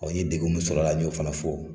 Ɔ n ye degun min sɔrɔ ala ɲo fana fɔ.